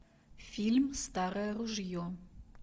фильм старое ружье